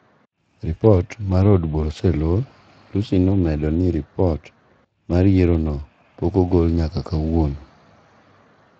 ripot mar od bura oselor, Lussi ne omedo ni ripot mar yiero no pok ogol nyaka kawuono